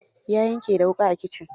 Ya yanke da wuƙa a kitchen.